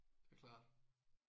Det er klart